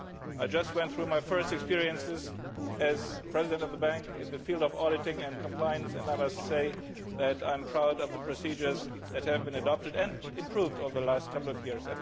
I just went through my first experiences as President of the Bank in the field of auditing and compliance and I must say that I am proud of the procedures that have been adopted and improved over the last couple of years.